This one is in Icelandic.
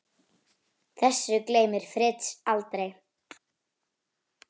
Þessu gleymir Fritz aldrei.